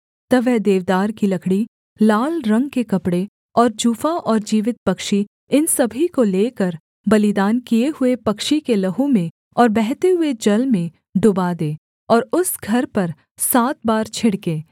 तब वह देवदार की लकड़ी लाल रंग के कपड़े और जूफा और जीवित पक्षी इन सभी को लेकर बलिदान किए हुए पक्षी के लहू में और बहते हुए जल में डूबा दे और उस घर पर सात बार छिड़के